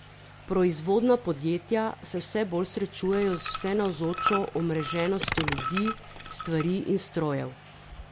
Proizvodna podjetja se vse bolj srečujejo z vsenavzočo omreženostjo ljudi, stvari in strojev.